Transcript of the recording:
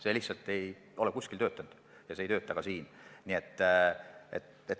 See lihtsalt ei ole kusagil nii toimunud ja see ei toimu nii ka siin.